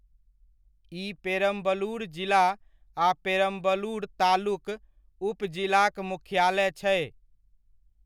ई पेरम्बलुर जिला आ पेरम्बलुर तालुक, उप जिला'क मुख्यालय छै।